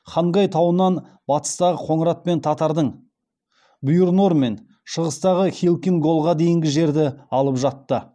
хангай тауынан батыстағы қоңырат пен татардың бұйыр нор мен шығыстағы халкин голға дейінгі жерді алып жатты